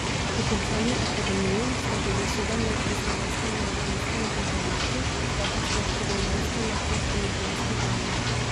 Po končani akademiji ste bili sedem let v Slovenskem mladinskem gledališču, zdaj pa ste štirinajsto leto v ljubljanski Drami.